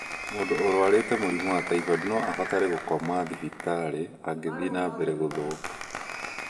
Mũndũ ũrarwara mũrimũ wa typhoid no abatare gũkomio thibitarĩ angĩthiĩ na mbere gũthũka.